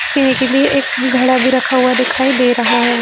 पीने के लिए एक घड़ा भी रखा हुआ दिखाई दे रहा है।